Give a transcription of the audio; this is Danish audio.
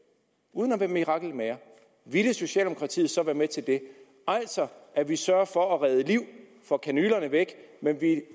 uden at være mirakelmager ville socialdemokratiet så være med til det altså at vi sørger for at redde liv får kanylerne væk men